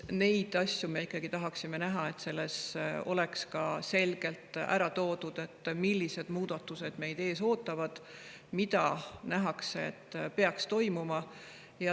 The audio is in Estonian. Neid asju me ikkagi tahaksime näha, samuti seda, et oleks selgelt ära toodud, millised muudatused meid ees ootavad ja mis peaks hakkama toimuma.